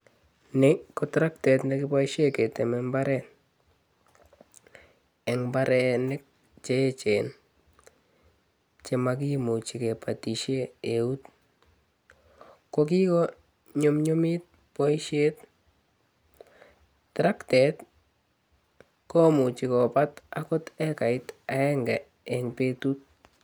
Ni ko traktet ne kipoishen keteme imbaaret, en imbaarenik che echen che makimuchi kebate eunek, kokikonyumnyum boisiet. Traktet komuchi kobat akot hekait agenge eng betut